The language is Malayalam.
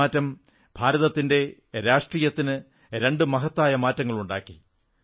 ഈ മാറ്റം ഇന്ത്യൻ രാഷ്ട്രീയത്തിൽ രണ്ടു സുപ്രധാന മാറ്റങ്ങളുണ്ടാക്കി